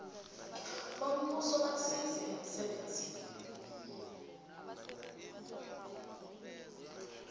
bombuso basize emsebenzini